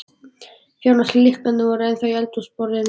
Fjárans lyklarnir voru ennþá á eldhúsborðinu.